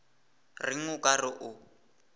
reng o ka re o